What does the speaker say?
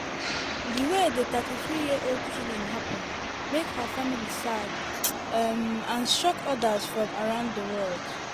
di way di 33-year-old killing happun make her family sad um and shock odas from around di world.